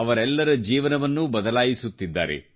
ಅವರೆಲ್ಲರ ಜೀವನವನ್ನೂ ಬದಲಾಯಿಸುತ್ತಿದ್ದಾರೆ